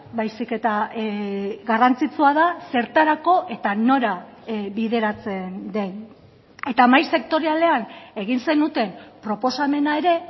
baizik eta garrantzitsua da zertarako eta nora bideratzen den eta mahai sektorialean egin zenuten proposamena ere